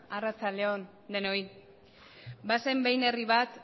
arratsalde on denoi bazen behin herri bat